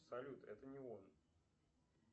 салют это не он